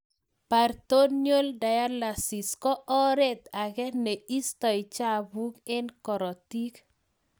Peritoneal dialysisis ko oreet agee nee istai chafuk eng korotik